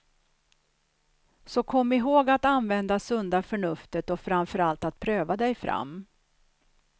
Så kom ihåg att använda sunda förnuftet och framför allt att pröva dig fram.